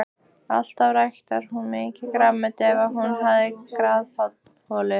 Alltaf ræktaði hún mikið grænmeti ef hún hafði garðholu.